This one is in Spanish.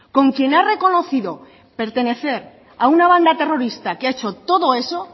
con quien ha reconocido pertenecer a una banda terrorista que ha hecho todo eso